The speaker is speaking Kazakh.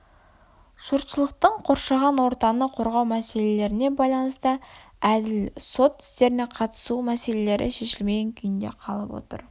жұртшылықтың қоршаған ортаны қорғау мселелеріне байланысты әділ сот істеріне қатысу мәселелері шешілмеген күйінде қалып отыр